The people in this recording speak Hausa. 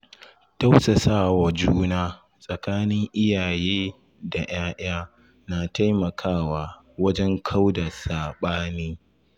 Tausasawa juna tsakanin iyaye da ‘ya‘ya na taimakawa wajen kauda saɓani.